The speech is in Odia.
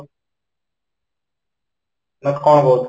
କ'ଣ କହୁଛ ?